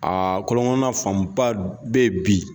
Aa kɔlɔnkɔnɔna fanba bɛ yen bi